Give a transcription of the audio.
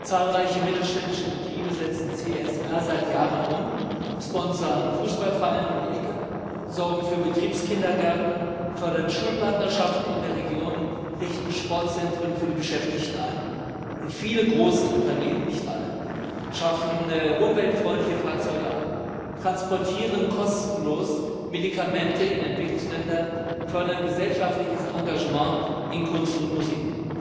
Zahlreiche mittelständische Betriebe setzen CSR seit Jahren um, sponsern Fußballvereine um die Ecke, sorgen für Betriebskindergärten, fördern Schulpartnerschaften in der Region, richten Sportzentren für die Beschäftigten ein, und viele große Unternehmen, nicht alle, schaffen umweltfreundliche Fahrzeuge an, transportieren kostenlos Medikamente in Entwicklungsländer, fördern gesellschaftliches Engagement in Kunst und Musik.